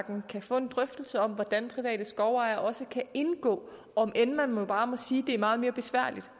kan få en drøftelse af hvordan private skovejere også kan indgå om end man bare må sige at det er meget mere besværligt